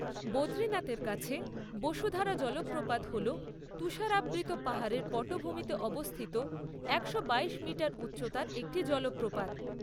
বদ্রীনাথের কাছে বসুধারা জলপ্রপাত হল তুষারাবৃত পাহাড়ের পটভূমিতে অবস্থিত একশো বাইশ মিটার উচ্চতার একটি জলপ্রপাত।